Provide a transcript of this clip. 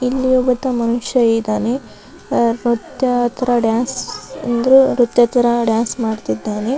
ಇಲ್ಲಿ ಒಬ್ಬ ಮನುಷ್ಯ ಇದ್ದಾನೆ ಆತರ ಡಾನ್ಸ್ ಅಂದ್ರು ನ್ರತ್ಯ ತರ ಡಾನ್ಸ್ ಮಾಡ್ತಿದ್ದಾನೆ .